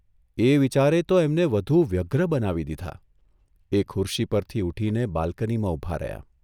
એ વિચારે તો એમને વધુ વ્યગ્ર બનાવી દીધા એ ખુરશી પરથી ઊઠીને બાલ્કનીમાં ઊભા રહ્યાં.